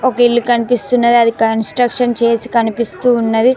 ఒక ఇల్లు కనిపిస్తున్నది అది కాన్స్ట్రక్షన్ చేసి కనిపిస్తూ ఉన్నది.